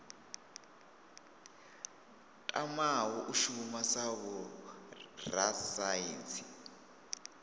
tamaho u shuma sa vhorasaintsi